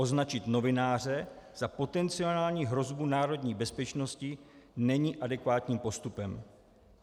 Označit novináře za potenciální hrozbu národní bezpečnosti není adekvátním postupem.